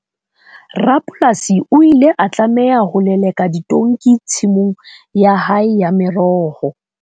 Rapolasi o ile a tlameha ho leleka ditonki tshimong ya hae ya meroho.